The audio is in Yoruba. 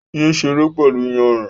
Yé ṣeré pẹ̀lú iyanrìn